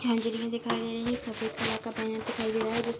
दिखाई दे रही है सफ़ेद कलर का बैनर दिखाई दे रहा है जिस प --